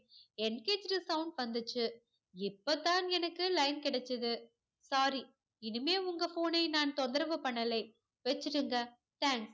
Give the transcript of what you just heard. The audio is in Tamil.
engaged sound வந்துச்சு. இப்போ தான் எனக்கு line கிடைச்சுது. sorry இனிமே உங்க phone னை நான் தொந்தரவு பண்ணலை. வெச்சுடுங்க. thanks